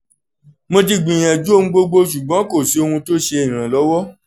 mo ti gbiyanju ohun gbogbo ṣugbọn ko si ohun ti ṣe iranlọwọ